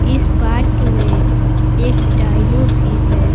इस पार्क में एक डाइनो भी है।